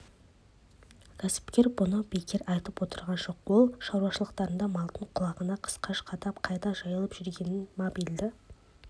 кәсіпкер мұны бекер айтып отырған жоқ ол шаруашылықтарында малдың құлағына қысқаш қадап қайда жайылып жүргенін мобильді